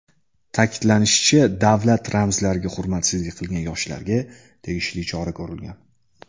Ta’kidlanishicha, davlat ramzlariga hurmatsizlik qilgan yoshlarga tegishli chora ko‘rilgan.